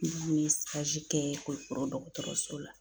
N kun ye kɛ Kulikɔrɔ dɔgɔtɔrɔso la.